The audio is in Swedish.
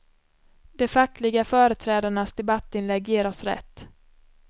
De fackliga företrädarnas debattinlägg ger oss rätt.